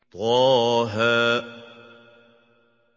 طه